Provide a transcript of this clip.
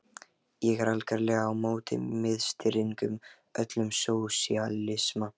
Ég er algerlega á móti miðstýringu, öllum sósíalisma.